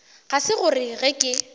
ga se gore ge ke